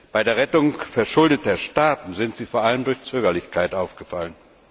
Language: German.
Bei der Rettung verschuldeter Staaten sind sie vor allem durch Zögerlichkeit aufgefallen.